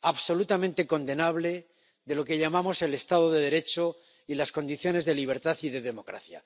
absolutamente condenable, de lo que llamamos el Estado de Derecho y las condiciones de libertad y de democracia.